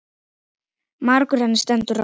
Margur henni stendur á.